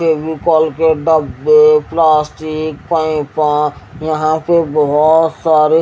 फेविकोल के डब्बे प्लास्टिक पैपा यहां पे बोहोत सारे--